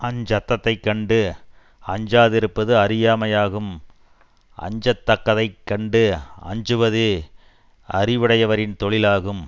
அஞ்சத்தத்தைக் கண்டு அஞ்சாதிருப்பது அறியாமையாகும் அஞ்ச தக்கதை கண்டு அஞ்சுவதே அறிவுடையவரின் தொழிலாகும்